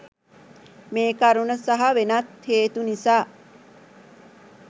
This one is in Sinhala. මේ කරුණ සහ වෙනත් හේතු නිසා